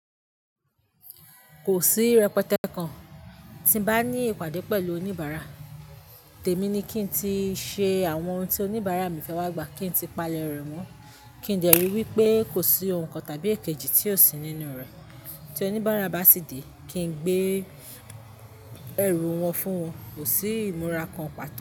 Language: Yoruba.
Kò sí rẹ́petẹ́ kan tí n bá ní ìpàdé pẹ̀lú oníbàárà. Tèmi ní kí n tí ṣe àwọn ohun tí oníbàárà mi fẹ́ wá gbà kí n tí palẹ̀ rẹ̀ mọ́, kí n dẹ́ rí wípé kò sí ohun kan tàbí èkejì tí ò sí nínú rẹ̀. Tí oníbàárà bá sì dé, kí n gbé ẹrù wọn fún wọn, kò sí ìmúra kan pàtó.